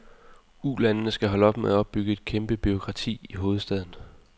Ulandene skal holde op med at opbygge et kæmpe bureaukrati i hovedstaden.